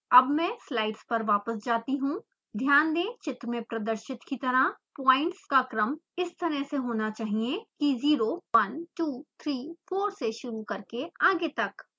अब मैं स्लाइड्स पर वापस जाती हूँ ध्यान दें चित्र में प्रदर्शित की तरह पॉइंट्स का क्रम इस तरह से होना चाहिए कि 0 1 2 3 4 से शुरू करके आगे तक